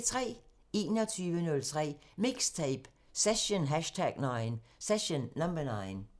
23:03: MIXTAPE – Session #9